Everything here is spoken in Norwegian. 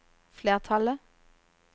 flertallet